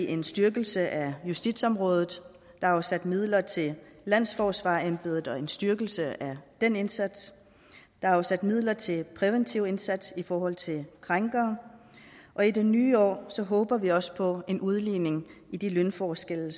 en styrkelse af justitsområdet der er afsat midler til landsforsvarerembedet og til en styrkelse af den indsats der er afsat midler til en præventiv indsats i forhold til krænkere og i det nye år håber vi også på en udligning i de lønforskelle